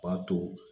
O b'a to